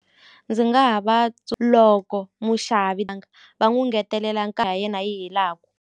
Ndzi nga ha va loko muxavi va n'wu ngetelela yi helaku.